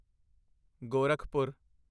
Gorakhpur